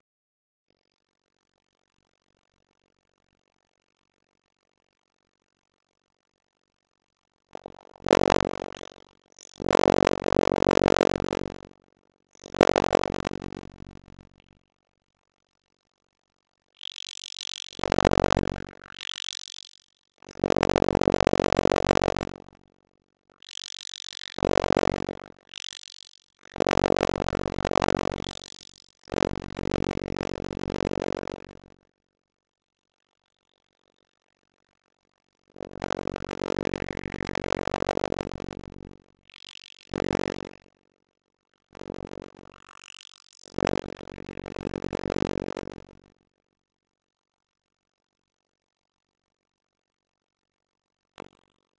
Hvort var á undan; sex daga stríðið eða Jom Kippur stríðið?